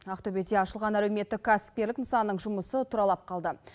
ақтөбеде ашылған әлеуметтік кәсіпкерлік нысанның жұмысы тұралап қалды